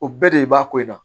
O bɛɛ de b'a ko in na